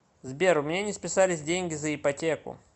сбер у меня не списались деньги за ипотеку